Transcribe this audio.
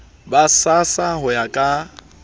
ba srsa ho ya ka